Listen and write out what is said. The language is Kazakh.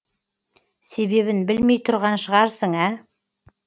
себебін білмей тұрған шығарсың ә